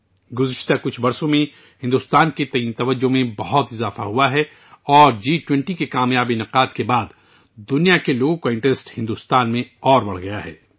پچھلے کچھ برسوں میں بھارت کی طرف کشش بہت بڑھی ہے اور جی 20 کے کام یاب انعقاد کے بعد دنیا بھر کے لوگوں کی دل چسپی بھارت میں مزید بڑھ گئی ہے